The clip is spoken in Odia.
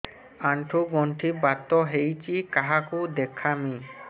ଆଣ୍ଠୁ ଗଣ୍ଠି ବାତ ହେଇଚି କାହାକୁ ଦେଖାମି